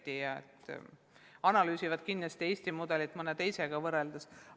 Kindlasti analüüsitakse Eesti mudelit mõne teisega võrreldes.